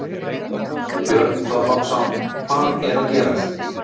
Björn Þorláksson: Hvað er að gerast?